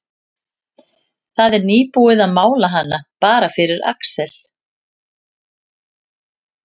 Það var nýbúið að mála hana, bara fyrir Alex.